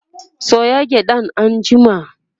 soya gyaɗan anjima!